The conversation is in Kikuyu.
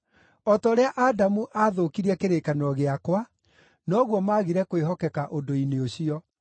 O ta ũrĩa Adamu aathũkirie kĩrĩkanĩro gĩakwa, noguo maagire kwĩhokeka ũndũ-inĩ ũcio.